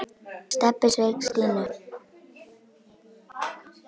Stebbi sveik Stínu.